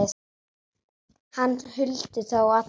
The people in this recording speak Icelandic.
Hann huldi þá alla